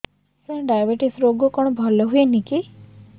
ସାର diabetes ରୋଗ କଣ ଭଲ ହୁଏନି କି